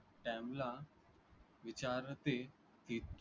त्यांना विचारते की